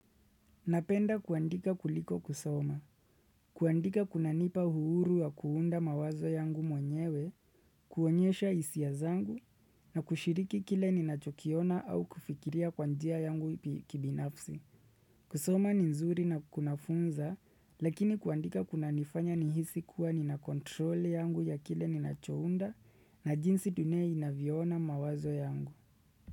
Napenda kuandika kuliko kusoma, kuandika kuna nipa uhuru wa kuunda mawazo yangu mwenyewe, kuonyesha hisia zangu, na kushiriki kile ninachokiona au kufikiria kwa njia yangu kibinafsi. Kusoma ni nzuri na kunafunza, lakini kuandika kuna nifanya nihisi kuwa nina kontroli yangu ya kile ninacho unda na jinsi dunia inavyo ona mawazo yangu.